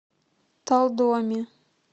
талдоме